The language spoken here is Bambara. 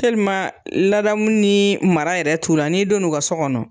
ladamu ni mara yɛrɛ t'u la n'i donna u ka so kɔnɔ,